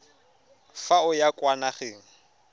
fa o ya kwa nageng